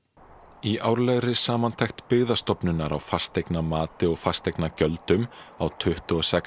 í árlegri samantekt Byggðastofnunar á fasteignamati og fasteignagjöldum á tuttugu og sex